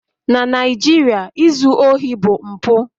Na Naijiria, izu ohi bụ mpụ